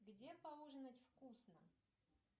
где поужинать вкусно